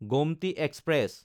Gomti express